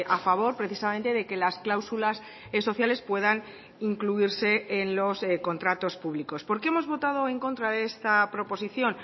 a favor precisamente de que las cláusulas sociales puedan incluirse en los contratos públicos por qué hemos votado en contra de esta proposición